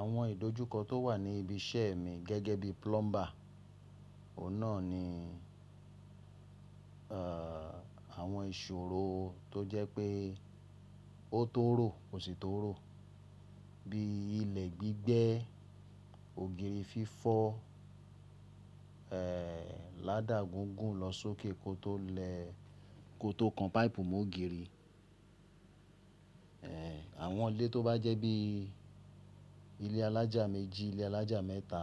Àwọn ìdojúkọ tó wà ní ibi iṣẹ́ mi gẹ́gẹ́ bí plumber, Oun na ni, àwọn ìṣòro tó jẹ́ pé ó tó rò kò sì tó rò, bí ilẹ̀ gbígbẹ́, ògiri fífọ́, ládà gígùn lọ sókè kó tó le kó tó kan páìpù mọ́ ògiri. Àwọn ilé tó bá jẹ́ bí ilé alájà méjì, ilé alájà mẹ́ta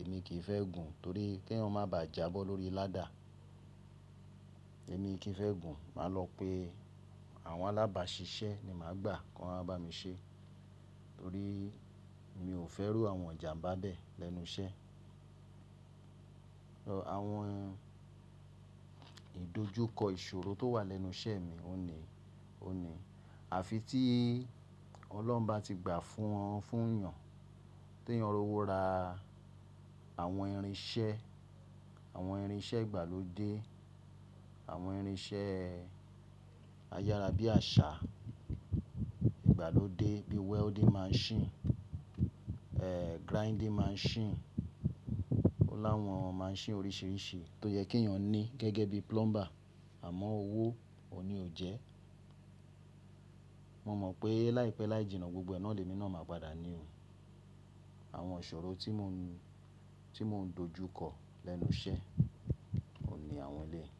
èmi kì í fẹ́ gùn torí ki eyan má bà jà bó lórí ládà. Èmi kì í fẹ́ gùn, màá lọ pe àwọn alábàṣiṣẹ́ ni màá gbà kan wọ́n bá mi ṣe torí mi ò fẹ́ iru àwọn ijanba bẹ́ẹ̀ lẹ́nu iṣẹ́. Àwọn ìdojúkọ ìṣòro tó wà lẹ́nu iṣẹ́ mi, oun ní, o ní àfi tí ọlọ́run bá ti gbà fún wọn, fún èèyàn tí èèyàn rówó ra àwọn irinṣẹ́, àwọn irinṣẹ́ ìgbàlódé, àwọn irinṣẹ́ ayárábiàsà ìgbàlódé bí welding machine, grinding machine, o láwọn machine oríṣìíríṣìí tó yẹ kí èèyàn ní gẹ́gẹ́ bí plumber àmọ́ owó òhun ní o jẹ́. Mo mọ̀ pé láìpẹ́ láìjìnà gbogbo ẹ na lè mi náà máa padà ní o. Àwọn ìṣòro tí mò ń dojúkọ lẹ́nu iṣẹ́, oun ní àwọn eleyi.